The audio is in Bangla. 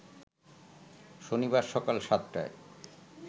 শনিবার সকাল সাতটায়